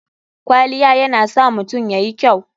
Kwaliya yana sa mutum yayi kyau.